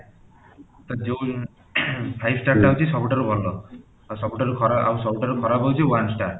ତ ଯୋଉ five star ଟା ହଉଚି ସବୁଠାରୁ ଭଲ ଆଉ ସବୁଠାରୁ ଖରାପ ଆଉ ସବୁଠାରୁ ଖରାପ ହଉଚି one star